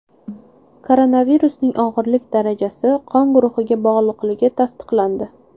Koronavirusning og‘irlik darajasi qon guruhiga bog‘liqligi tasdiqlandi.